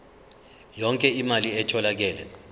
yonke imali etholakele